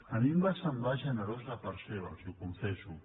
a mi em va semblar generós de part seva els ho confesso